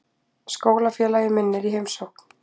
Skólafélagi minn er í heimsókn.